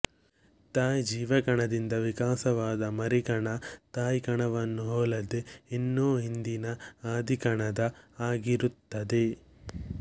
ತಾಯಿ ಜೀವಕಣದಿಂದ ವಿಕಾಸವಾದ ಮರಿಕಣ ತಾಯಿ ಕಣವನ್ನೂ ಹೋಲದೆ ಇನ್ನು ಹಿಂದಿನ ಆದಿಕಣದ ಹಾಗಿರುತ್ತದೆ